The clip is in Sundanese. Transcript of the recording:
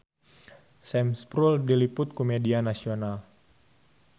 Sam Spruell diliput ku media nasional